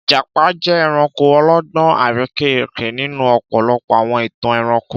Ìjàpá jẹ́ ẹranko ọlọ́gbọ́n àrekérekè nínú ọ̀pọ̀lọpọ̀ àwọn ìtàn ẹranko.